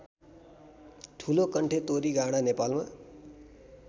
ठुलोकण्ठे तोरीगाँडा नेपालमा